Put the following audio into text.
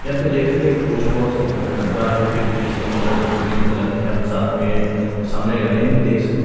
यहां पे देख सकते एक पोस्ट बॉक्स डब्बा है जिसका कलर ग्रीन कलर में है हम साथ में सामने गाड़ियां भी देख सकते--